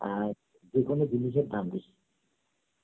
আর যেকোনো জিনিসের দাম বেশি